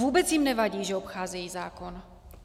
Vůbec jim nevadí, že obcházejí zákon.